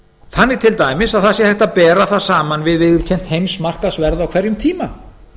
þannig til dæmis að það sé hægt að bera það saman við viðurkennt heimsmarkaðsverð á hverjum tíma